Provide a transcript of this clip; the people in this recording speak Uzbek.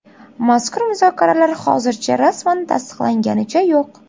Mazkur muzokaralar hozircha rasman tasdiqlanganicha yo‘q.